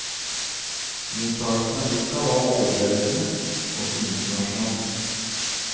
Mottakelsen av boka var overveldende, også internasjonalt.